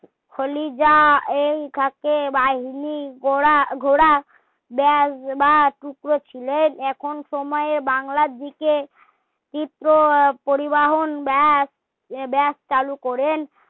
ফলি যা এই থাকেন বাহিনী গড়া ঘোড়া রা টুকরো ছিলেন এখন সময়ে বাংলার দিকে তীব্র পরিবহন চালু করেন